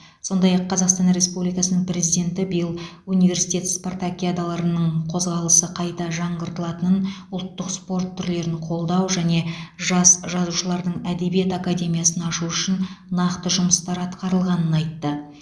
сондай ақ қазақстан республикасының президенті биыл университет спартакиадаларының қозғалысы қайта жаңғыртылатынын ұлттық спорт түрлерін қолдау және жас жазушылардың әдебиет академиясын ашу үшін нақты жұмыстар атқарылғанын айтты